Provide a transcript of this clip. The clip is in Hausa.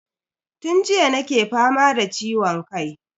Tun jiya nake fama da ciwon kai.